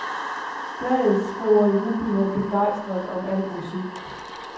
Bladet skriver jublende begejstret om al musik.